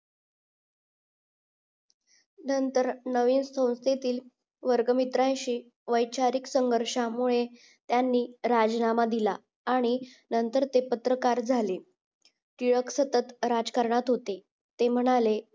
नंतर नवे सतुरतेतील वर्गमित्रांशी वैचारिक संघर्षामुळे त्यानी राजीनामा दिला आणि नंतर ते पत्रकार झाले टिळक सतत राजकारणात होते ते म्हणाले